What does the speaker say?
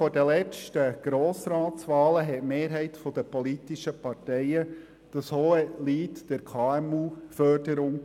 Vor den letzten Grossratswahlen haben eine Mehrheit der politischen Parteien landauf, landab das Hohelied auf die KMU gesungen.